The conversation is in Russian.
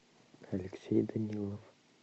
алексей данилов